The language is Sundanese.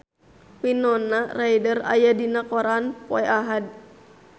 Winona Ryder aya dina koran poe Ahad